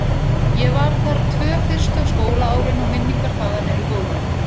Ég var þar tvö fyrstu skólaárin og minningar þaðan eru góðar.